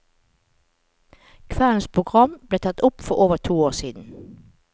Kveldens program ble tatt opp for over to år siden.